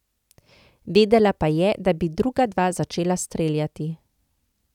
Vedela pa je, da bi druga dva začela streljati.